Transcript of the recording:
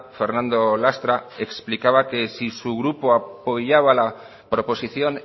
fernando lastra explicaba que si su grupo apoyaba la proposición